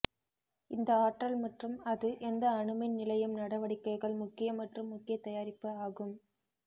இந்த ஆற்றல் மற்றும் அது எந்த அணு மின் நிலையம் நடவடிக்கைகள் முக்கிய மற்றும் முக்கிய தயாரிப்பு ஆகும்